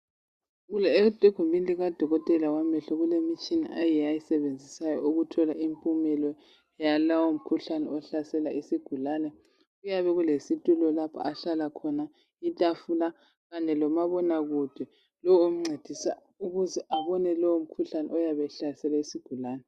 Egumini likadokotela wamehlo kulemitshina eyiyo ayisebenzisayo ukuthola impumelo yalowo mkhuhlane ohlasela isigulane kuyabe kulesitulo lapho ahlala khona itafula kanye lomabonakude lowo omncedisa ukuze abone lowo mkhuhlane oyabe ehlasele isigulane .